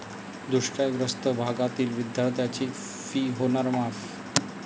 दुष्काळग्रस्त भागातील विद्यार्थ्यांची 'फी' होणार माफ!